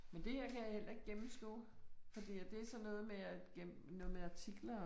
Men det her kan jeg heller ikke gennemskue. Fordi at det er sådan noget med at noget med artikler